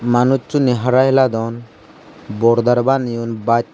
manuchuney hara hiladon bordar baneyon bas.